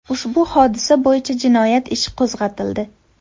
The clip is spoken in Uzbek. Ushbu hodisa bo‘yicha jinoyat ishi qo‘zg‘atildi.